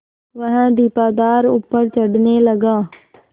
वह दीपाधार ऊपर चढ़ने लगा